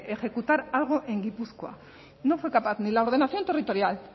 ejecutar algo en gipuzkoa no fue capaz ni la ordenación territorial